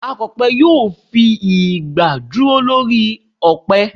Akọ̀pẹ yóò fi igbà dúró lórí ọ̀pẹ